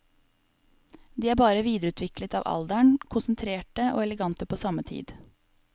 De er bare videreutviklet av alderen, konsentrerte og elegante på samme tid.